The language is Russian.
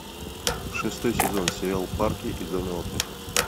шестой сезон сериал парки и зоны отдыха